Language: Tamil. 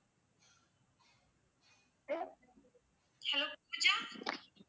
hello பூஜா